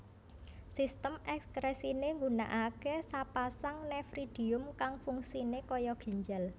Sistem ekskresiné ngunakaké sapasang nefridium kang fungsiné kaya ginjal